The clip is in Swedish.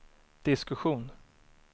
diskussion